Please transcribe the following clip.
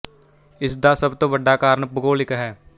ਇਸ ਦਾ ਸਭ ਤੋਂ ਵੱਡਾ ਕਾਰਨ ਭੂਗੋਲਿਕ ਹੈ